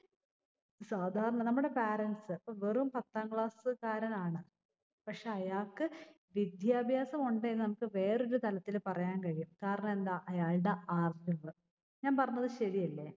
സാധാരണ നമ്മടെ parents സ്സ്. ഇപ്പൊ വെറും പത്താം class സ്സ് കാരനാണ്. പക്ഷെ അയാൾക്ക് വിദ്യാഭ്യാസം ഉണ്ട് എന്ന് നമ്മുക്ക് വേറൊരു തലത്തിൽ പറയാൻ കഴിയും. കാരണമെന്താ? അയാൾടെ അറിവ്. ഞാൻ പറഞ്ഞത് ശെരിയല്ലേ?